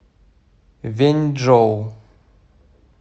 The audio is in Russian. вэньчжоу